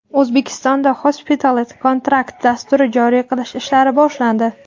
O‘zbekistonda Hospitality Contract dasturini joriy qilish ishlari boshlandi.